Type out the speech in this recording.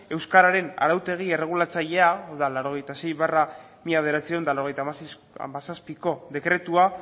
euskararen arautegi erregulatzailea hau da laurogeita sei barra mila bederatziehun eta laurogeita hamazazpiko dekretua